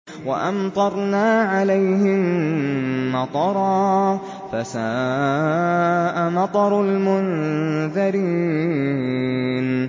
وَأَمْطَرْنَا عَلَيْهِم مَّطَرًا ۖ فَسَاءَ مَطَرُ الْمُنذَرِينَ